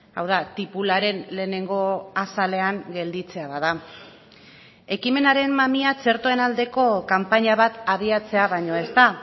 hau da tipularen lehenengo azalean gelditzea bada ekimenaren mamia txertoen aldeko kanpaina bat abiatzea baino ez da